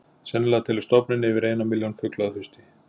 Sennilega telur stofninn yfir eina milljón fugla að hausti.